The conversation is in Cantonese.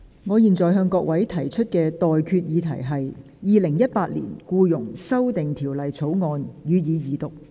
我現在向各位提出的待決議題是：《2018年僱傭條例草案》，予以二讀。